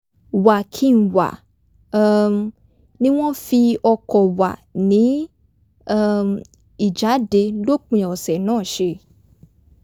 wà-kí-n-wà um ni wọ́n fi o̩kò̩ wà ní um ìjáde lópin ọ̀sẹ̀ náà s̩e